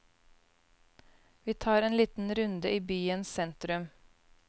Vi tar en liten runde i byens sentrum.